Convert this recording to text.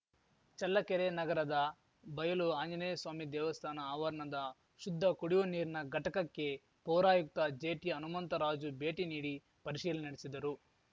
ಚಳ್ಳಕೆರೆ ನಗರದ ಬಯಲು ಆಂಜನೇಯಸ್ವಾಮಿ ದೇವಸ್ಥಾನ ಆವರಣದ ಶುದ್ಧ ಕುಡಿಯುವ ನೀರಿನ ಘಟಕಕ್ಕೆ ಪೌರಾಯುಕ್ತ ಜೆಟಿ ಹನುಮಂತರಾಜು ಭೇಟಿ ನೀಡಿ ಪರಿಶೀಲನೆ ನಡೆಸಿದರು